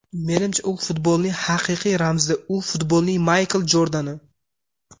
Menimcha, u futbolning haqiqiy ramzi, u futbolning Maykl Jordani.